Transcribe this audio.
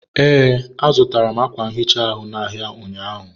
ee, azụtara m ákwà nhicha ahụ n'ahịa ụnyaahụ.